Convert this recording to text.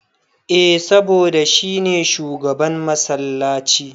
Eh saboda shi ne shugaban massalaci.